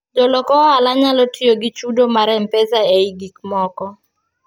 jolok ohala nyalo tiyo gi chudo mar mpesa ei gik moko